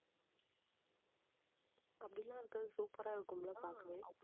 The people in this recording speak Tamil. அப்படி எல்லாம் இருக்கறது super ஆ இருக்கும்ல பார்க்கவே